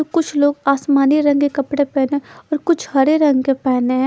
कुछ लोग आसमानी रंग के कपडे पेने और कुछ हरे रंग के पहने है ।